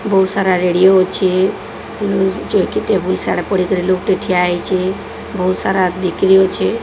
ବହୁତ ସାରା ରେଡ଼ିଓ ଅଛେ ଉଁ ଚୌକି ଟେବୁଲ ସାଡା ପଡିକି ଲୋକଟେ ଠିଆ ହେଇଚେ ବହୁତ ସାରା ବିକ୍ରି ଅଛେ।